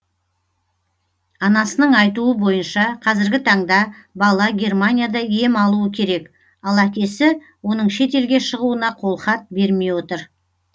анасының айтуы бойынша қазіргі таңда бала германияда ем алуы керек ал әкесі оның шетелге шығуына қолхат бермей отыр